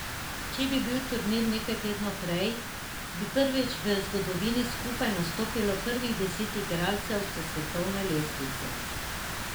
Če bi bil turnir nekaj tednov prej, bi prvič v zgodovini skupaj nastopilo prvih deset igralcev s svetovne lestvice.